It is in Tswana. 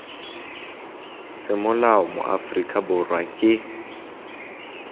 semolao mo aforika borwa ke